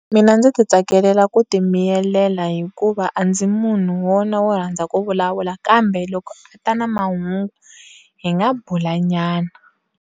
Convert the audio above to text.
Mina ndzi ti tsakelela ku ti miyelela hikuva a ndzi munhu wona wo rhandza ku vulavula kambe loko a ta na mahungu hi nga bulanyana